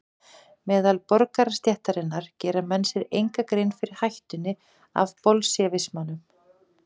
Meðal borgarastéttarinnar gera menn sér enga grein fyrir hættunni af bolsévismanum.